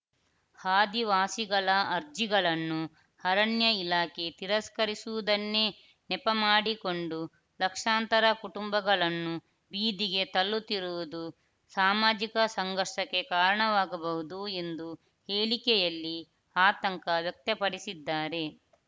ಆದಿವಾಸಿಗಳ ಅರ್ಜಿಗಳನ್ನು ಅರಣ್ಯ ಇಲಾಖೆ ತಿರಸ್ಕರಿಸುವುದನ್ನೇ ನೆಪ ಮಾಡಿಕೊಂಡು ಲಕ್ಷಾಂತರ ಕುಟುಂಬಗಳನ್ನು ಬೀದಿಗೆ ತಳ್ಳುತ್ತಿರುವುದು ಸಾಮಾಜಿಕ ಸಂಘರ್ಷಕ್ಕೆ ಕಾರಣವಾಗಬಹುದು ಎಂದು ಹೇಳಿಕೆಯಲ್ಲಿ ಆತಂಕ ವ್ಯಕ್ತಪಡಿಸಿದ್ದಾರೆ